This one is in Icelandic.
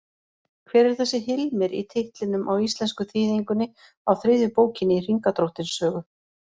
Hver er þessi Hilmir í titlinum á íslensku þýðingunni á þriðju bókinni í Hringadróttinssögu?